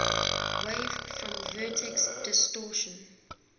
wave form vertex distortion